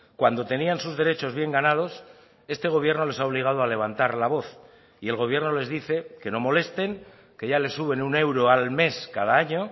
cuando tenían sus derechos bien ganados este gobierno les ha obligado a levantar la voz y el gobierno les dice que no molesten que ya les suben un euro al mes cada año